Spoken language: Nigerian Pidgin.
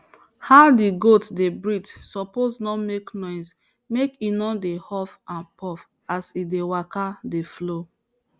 how the goat dey breathe suppose no make noise make e no dey huff and puff as e dey waka dey flow